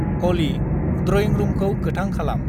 अलि, drawing रुमखौ गोथां खालाम।